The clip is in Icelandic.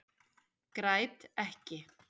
Græt ekki.